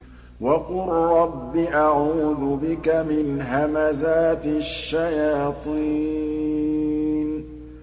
وَقُل رَّبِّ أَعُوذُ بِكَ مِنْ هَمَزَاتِ الشَّيَاطِينِ